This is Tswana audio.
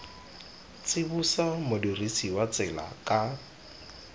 tsibosa modirisi wa tsela ka